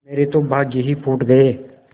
मेरे तो भाग्य ही फूट गये